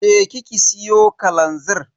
Je ki ki siyo kalanzir.